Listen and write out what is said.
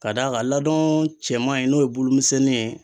Ka d'a kan laadon cɛman in n'o ye bolomisɛnnin ye.